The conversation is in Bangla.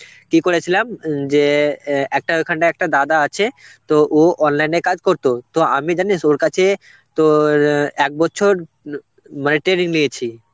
কি করেছিলাম উম যে অ্যাঁ একটা ওইখানটা একটা দাদা আছে তো ও online এ কাজ করতো. তো আমি জানিস ওর কাছে তোর ওই এক বছর ম~ মানে training নিয়েছি.